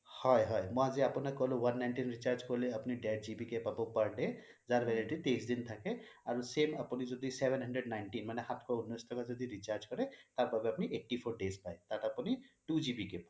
হয় হয় মই আজি আপোনাক কলোঁ one ninety nine ৰ recharge কৰিলে আপুনি দেৰ GB কে পাব per day যাৰ validity তেইচ দিন থাকে আৰু same আপুনি যদি seven hundred nineteen মানে সাতখ উন্নছ ৰ যদি recharge কৰে তাৰ বাবে আপুনি eighty four days পাই তাত আপুনি two GB কে পাই